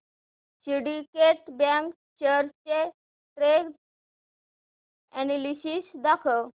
Syndicate Bank shares चे trend analysis दाखव